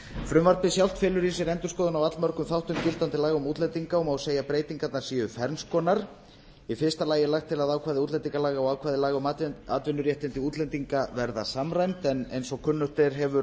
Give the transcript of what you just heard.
frumvarpið sjálft felur í sér endurskoðun á allmörgum þáttum gildandi laga um útlendinga og má segja að breytingarnar séu ferns konar í fyrsta lagi er lagt til að ákvæði útlendingalaga og ákvæði laga um atvinnuréttindi útlendinga verði samræmd en eins og kunnugt er hefur